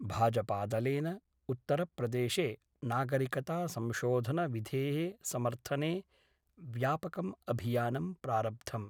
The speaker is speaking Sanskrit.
भाजपादलेन उत्तरप्रदेशे नागरिकतासंशोधनविधे: समर्थने व्यापकम् अभियानं प्रारब्धम्।